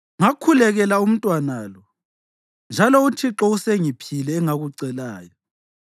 Ngakhulekela umntwana lo, njalo uThixo usengiphile engakucelayo.